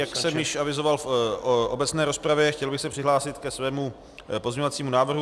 Jak jsem již avizoval v obecné rozpravě, chtěl bych se přihlásit ke svému pozměňovacímu návrhu.